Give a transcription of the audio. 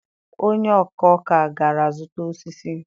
onye-ọ̀kà-ọ̀kà gara zuta osisi.